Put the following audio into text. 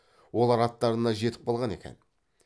олар аттарына жетіп қалған екен